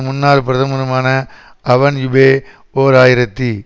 முன்னாள் பிரதமருமான Alain Juppe ஓர் ஆயிரத்தி